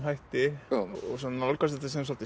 hætti og nálgast þetta sem svolítið